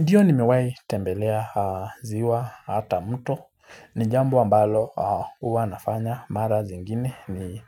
Ndiyo nimewahi tembelea ziwa hata mto. Ni jambo ambalo huwa nafanya mara zingine